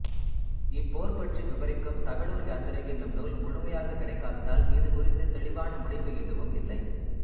இப்போர் பற்றி விபரிக்கும் தகடூர் யாத்திரை என்னும் நூல் முழுமையாகக் கிடைக்காததால் இது குறித்துத் தெளிவான முடிவு எதுவும் இல்லை